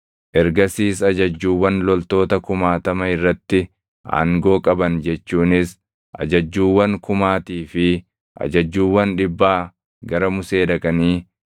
Ergasiis ajajjuuwwan loltoota kumaatama irratti aangoo qaban jechuunis ajajjuuwwan kumaatii fi ajajjuuwwan dhibbaa gara Musee dhaqanii